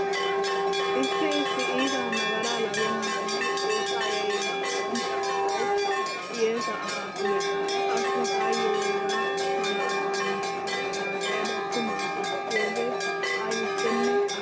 Issi issi iita nagaraa lagennanne xoossaa yayyenna otoranchcha asay hiyyeesa asaa sugees. Qassi taayyo hegaa mala asa gishshaa haasayada tumaa kessiyoogee aybippenne aadhdhiyaba.